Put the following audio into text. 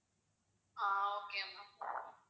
ah okay ma'am